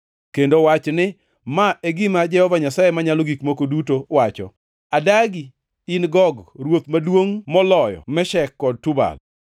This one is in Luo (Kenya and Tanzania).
kendo wach ni, ‘Ma e gima Jehova Nyasaye Manyalo Gik Moko Duto wacho: Adagi, in Gog, ruoth maduongʼ moloyo Meshek kod Tubal.